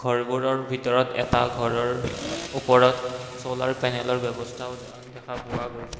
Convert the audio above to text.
ঘৰবোৰৰ ভিতৰত এটা ঘৰৰ ওপৰত চলাৰ প্যানেলৰ ব্যৱস্থাও দেখা পোৱা গৈছে।